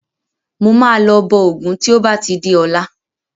Mo máa lọ bọ Ògún tí ó bá ti di ọ̀la.